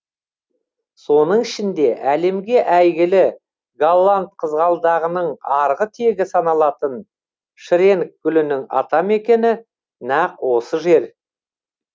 соның ішінде әлемге әйгілі голланд қызғалдағының арғы тегі саналатын шренк гүлінің атамекені нақ осы жер